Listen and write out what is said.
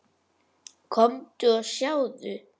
Komdu og sjáðu!